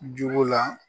Juru la